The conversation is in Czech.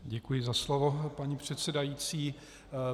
Děkuji za slovo, paní předsedající.